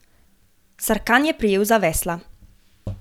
Sarkan je prijel za vesla.